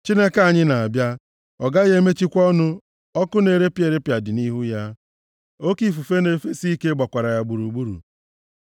Chineke anyị na-abịa, ọ gaghị emechikwa ọnụ; ọkụ na-erepịa erepịa dị nʼihu ya, oke ifufe na-efesi ike gbakwara ya gburugburu.